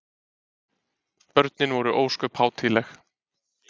Börnin voru ósköp hátíðleg.